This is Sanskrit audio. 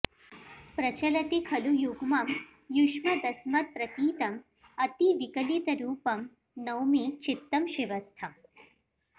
प्रचलति खलु युग्मं युष्मदस्मत्प्रतीतम् अतिविकलितरूपं नौमि चित्तं शिवस्थम्